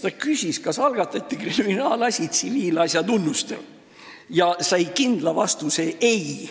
Ta küsis, kas algatati kriminaalasi tsiviilasja tunnustel, ja sai kindla vastuse: ei.